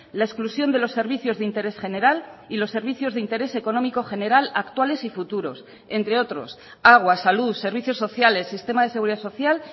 la exclusión de los servicios de interés general y los servicios de interés económico general actuales y futuros entre otros agua salud servicios sociales sistema de seguridad social